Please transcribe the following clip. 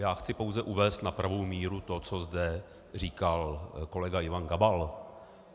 Já chci pouze uvést na pravou míru to, co zde říkal kolega Ivan Gabal.